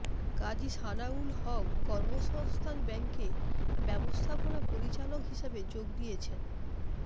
কাজী সানাউল হক কর্মসংস্থান ব্যাংকে ব্যবস্থাপনা পরিচালক হিসেবে যোগ দিয়েছেন